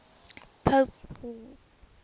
pope paul